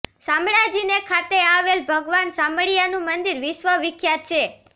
શામળાજી ખાતે આવેલ ભગવાન શામળિયાનુ મંદિર વિશ્વ વિખ્યાત છે